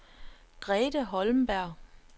Grete Holmberg